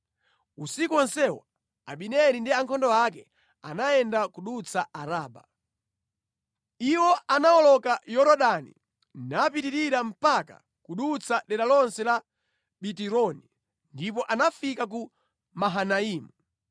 Usiku wonsewo Abineri ndi ankhondo ake anayenda kudutsa Araba. Iwo anawoloka Yorodani, napitirira mpaka kudutsa dera lonse la Bitironi ndipo anafika ku Mahanaimu.